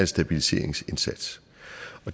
stabiliseringsindsats